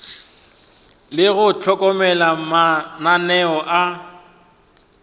le go hlokomela mananeo a